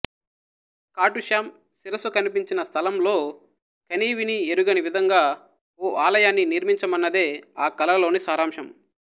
ఖాటు శ్యాం శిరసు కనిపించిన స్థలంలో కనీవినీ ఎరుగని విధంగా ఓ ఆలయాన్ని నిర్మించమన్నదే ఆ కలలోని సారాంశం